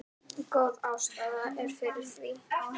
Góð ástæða er fyrir því.